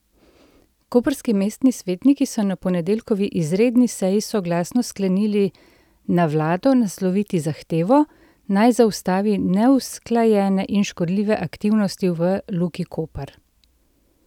Koprski mestni svetniki so na ponedeljkovi izredni seji soglasno sklenili na vlado nasloviti zahtevo, naj zaustavi neusklajene in škodljive aktivnosti v Luki Koper.